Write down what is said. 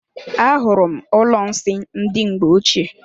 Ahụrụ m ụlọ nsị ndị mgbe ochie.